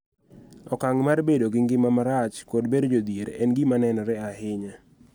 Okang� mar bedo gi ngima marach kod bedo jodhier en gima nenore ahinya.